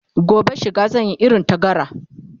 gobe shiga zan Yi irin ta gara